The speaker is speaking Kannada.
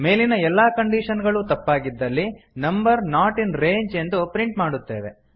ಮೇಲಿನ ಎಲ್ಲಾ ಕಂಡೀಶನ್ ಗಳೂ ತಪ್ಪಾಗಿದ್ದಲ್ಲಿ ನಂಬರ್ ನಾಟ್ ಇನ್ ರೇಂಜ್ ಎಂದು ಪ್ರಿಂಟ್ ಮಾಡುತ್ತೇವೆ